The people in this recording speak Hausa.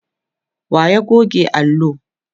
wa ya goge allo?